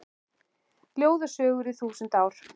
Ljóð og sögur í þúsund ár